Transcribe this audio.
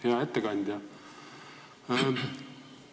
Hea ettekandja!